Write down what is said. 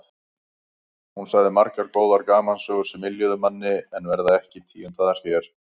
Hún sagði margar góðar gamansögur sem yljuðu manni en verða ekki tíundaðar hér.